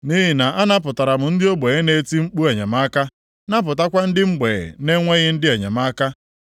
Nʼihi na anapụtara m ndị ogbenye na-eti mkpu enyemaka, napụtakwa ndị mgbei na-enweghị ndị enyemaka.